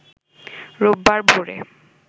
রোববার ভোরে